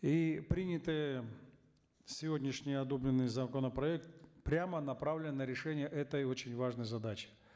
и принятый сегодняшний одобренный законопроект прямо направлен на решение этой очень важной задачи